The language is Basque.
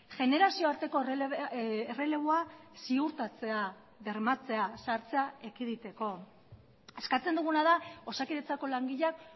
generazio arteko erreleboa ziurtatzea bermatzea zahartzea ekiditeko eskatzen duguna da osakidetzako langileak